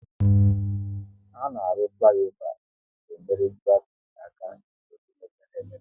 A na-arụ fliova e ji nyere traffic aka n'obodo mepere emepe